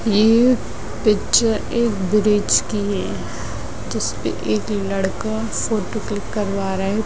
ये पिक्चर एक ब्रिज की है जिसपर एक लड़का फोटो क्लिक करवा रहा है।